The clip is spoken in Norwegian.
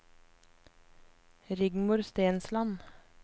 Rigmor Stensland